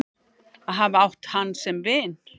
Að hafa átt hann sem vin.